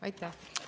Aitäh!